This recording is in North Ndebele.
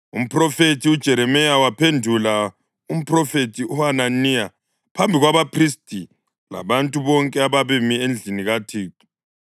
Umphrofethi uJeremiya waphendula umphrofethi uHananiya phambi kwabaphristi labantu bonke ababemi endlini kaThixo.